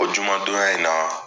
O juma donya in na